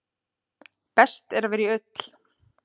Best er að vera í ull.